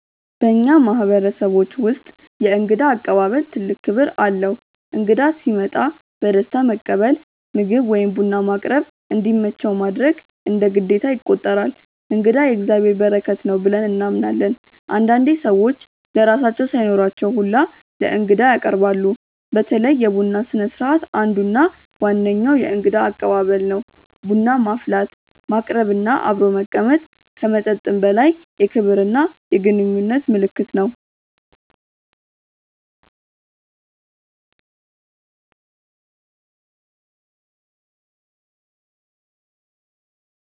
በእኛ ማህበረሰቦች ውስጥ የእንግዳ አቀባበል ትልቅ ክብር አለው። እንግዳ ሲመጣ በደስታ መቀበል፣ ምግብ ወይም ቡና ማቅረብ፣ እንዲመቸው ማድረግ እንደ ግዴታ ይቆጠራል። “እንግዳ የእግዚአብሔር በረከት ነው” ብለን እናምናለን። አንዳንዴ ሰዎች ለራሳቸው ሳይኖራቸው ሁላ ለእንግዳ ያቀርባሉ። በተለይ የቡና ስነስርዓት አንዱ እና ዋነኛው የእንግዳ አቀባበል ነው። ቡና ማፍላት፣ ማቅረብ እና አብሮ መቀመጥ ከመጠጥም በላይ የክብርና የግንኙነት ምልክት ነው።